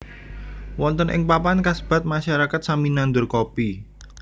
Wonten ing papan kasebat masyarakat sami nandur Kopi